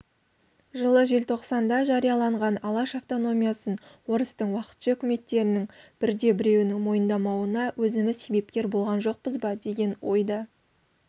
жылы желтоқсанда жарияланған алаш автономиясын орыстың уақытша үкіметтерінің бірде-біреуінің мойындамауына өзіміз себепкер болған жоқпыз ба деген ой да